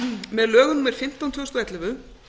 með lögum númer fimmtán tvö þúsund og ellefu